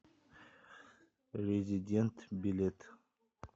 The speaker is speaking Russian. резидент билет